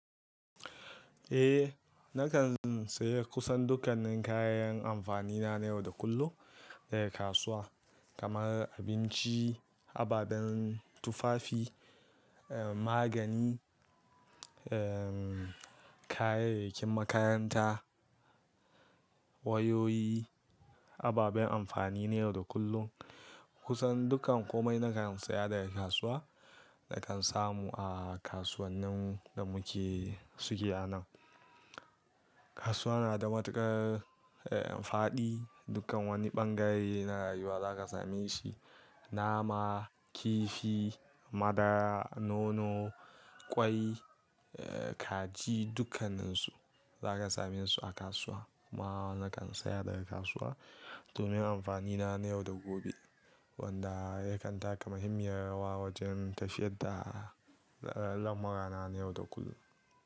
Eh, na kan saya kusan dukkanin kayan amfani na na yau da kullum daga kasuwa kamar abinci, ababen tufafi, eh magani, eh kayayyakin makaranta, wayoyi, ababen amfani na yau da kullum. Kusan dukkan kome na kan saya daga kasuwa, na kan samu a kasuwannin da muke suke a nan. Kasuwa na da matuƙar eh faɗi, dukkan wani ɓangare na rayuwa za ka same shi. Nama, kifi, madara, nono, ƙwai, eh kaji dukkaninsu za ka same su a kasuwa. Kuma na kan saya daga kasuwa domin amfani na na yau da gobe wanda yakan taka muhimmiyar rawa wajen tafiyar da al'amurana na yau da kullum.